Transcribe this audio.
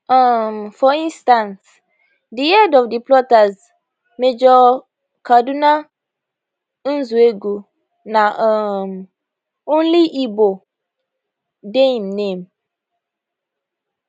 um for instance di head of di plotters major kaduna nzeogwu na um only igbo dey im name